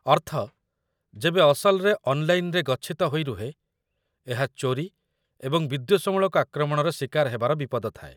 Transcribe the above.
ଅର୍ଥ ଯେବେ ଅସଲରେ 'ଅନ୍‌ଲାଇନ୍‌'ରେ ଗଚ୍ଛିତ ହୋଇ ରୁହେ, ଏହା ଚୋରି ଏବଂ ବିଦ୍ୱେଷମୂଳକ ଆକ୍ରମଣର ଶିକାର ହେବାର ବିପଦ ଥାଏ